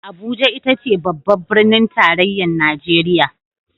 Abuja ita ce babbar Birnin Tarayyar Najeriya